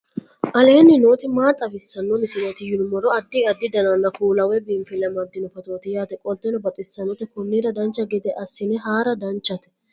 aleenni nooti maa xawisanno misileeti yinummoro addi addi dananna kuula woy biinsille amaddino footooti yaate qoltenno baxissannote konnira dancha gede assine haara danchate